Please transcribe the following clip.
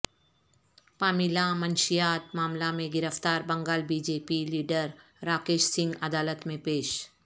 Pamela منشیات معاملہ میں گرفتار Bengal B J P leader Rakesh Singh عدالت میں پیش